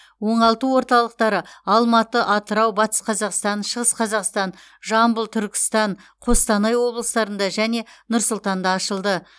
оңалту орталықтары алматы атырау батыс қазақстан шығыс қазақстан жамбыл түркістан қостанай облыстарында және нұр сұлтанда ашылды